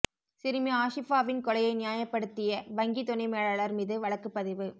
சிறுமி ஆஷிஃபாவின் கொலையை நியாயப்படுத்திய வங்கி துணை மேலாளர் மீது வழக்குப் பதிவு